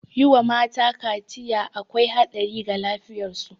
Yi wa mata kaciya akwai haɗari ga lafiyar su